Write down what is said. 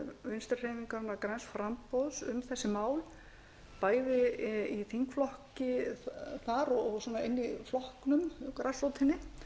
vinstri hreyfingarinnar græns framboðs um þessi mál bæði í þingflokki þar og inni í flokknum grasrótinni